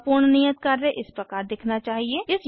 आपका पूर्ण नियत कार्य इस प्रकार दिखना चाहिए